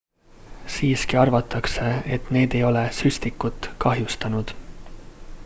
siiski arvatakse et need ei ole süstikut kahjustanud